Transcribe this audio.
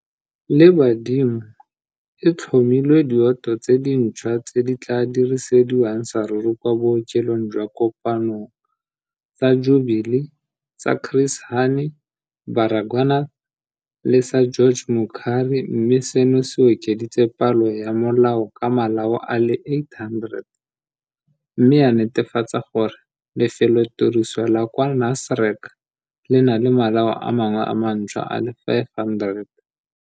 le badimo, e tlhomile dioto tse dintšhwa tse di tla dirisediwang saruri kwa bookelong jwa Kopanong, sa Jubilee, sa Chris Hani Baragwanath le sa George Mukhari mme seno se okeditse palo ya malao ka malao a le 800, mme ya netefatsa gore lefelotiriso la kwa Nasrec le na le malao a mangwe a mantšhwa a le 500.